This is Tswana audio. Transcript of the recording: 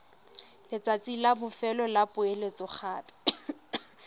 letsatsi la bofelo la poeletsogape